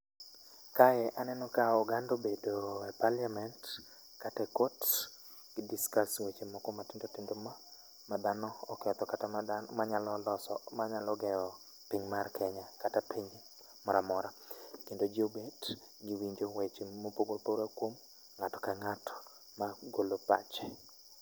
Kae aneno ka oganda obedo e parliament kata e kot gi discuss weche moko matindotindo ma madhano oketho kata ma dhano manyalo loso manyalo gero piny mar kenya kata piny moramora kendo jii obet giwinjo weche kuom ng'ato ka ng'ato magolo pache